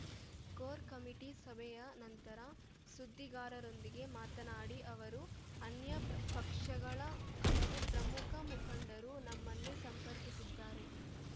core committee ಸಭೆಯ ನಂತರ ಸುದ್ದಿಗಾರರೊಂದಿಗೆ ಮಾತನಾಡಿ ಅವರು ಅನ್ಯ ಪ್ರ ಪಕ್ಷಗಳ ಹಲವು ಪ್ರಮುಖ ಮುಖಂಡರು ನಮನ್ನು ಸಂಪರ್ಕಿಸಿದ್ದಾರೆ